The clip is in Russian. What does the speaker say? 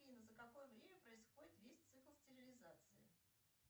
афина за какое время происходит весь цикл стерилизации